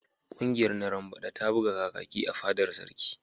Ƙungiyar narambada ta buga Kakaki a fadar sarki.